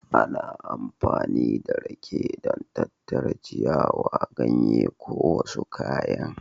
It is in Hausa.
Ana amfani da rake don tattara ciyawa, ganye ko wasu kayan